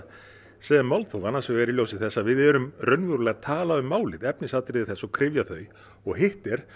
sem málþóf annars vegar í ljósi þess að við erum raunverulega að tala um málið efnisatriði þess og kryfja þau og hitt er